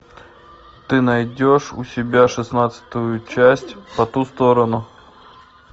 ты найдешь у себя шестнадцатую часть по ту сторону